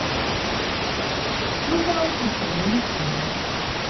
S Plutonom smo se imeli fino.